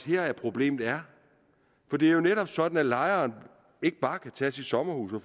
her problemet er for det er jo netop sådan at lejeren ikke bare kan tage sit sommerhus og